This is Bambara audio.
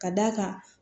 Ka d'a kan